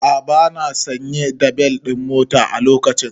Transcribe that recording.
A'a bana sanye da bel ɗin mota a lokacin